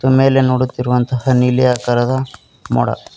ಮೇಲೆ ನೋಡುತ್ತಿರುವಂತಹ ನೀಲಿ ಆಕಾರದ ಮೋಡ--